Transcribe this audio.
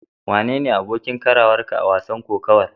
Wane ne abokin karawarka a wasan kokawar?